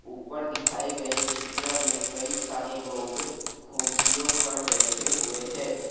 ऊपर दिखाए गए चित्र में कई सारे लोग कुर्सियों पर बैठे हुए हैं।